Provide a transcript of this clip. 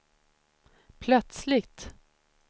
plötsligt